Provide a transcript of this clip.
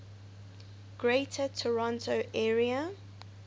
greater toronto area